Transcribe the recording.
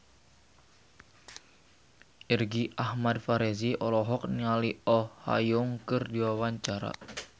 Irgi Ahmad Fahrezi olohok ningali Oh Ha Young keur diwawancara